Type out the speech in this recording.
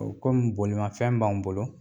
O kɔmi bolimafɛn b'an bolo